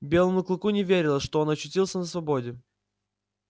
белому клыку не верилось что он очутился на свободе